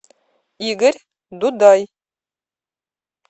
игорь дудай